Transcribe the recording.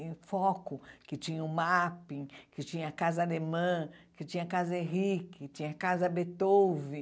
em foco, que tinha o MAP, que tinha a casa alemã, que tinha a casa Henrique, tinha a casa Beethoven.